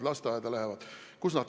Kuhu lasteaeda nad lähevad?